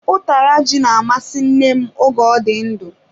Utara ji na-amasị nne m oge ọ dị ndụ.